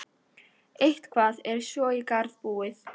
Eitthvað er svo í garð búið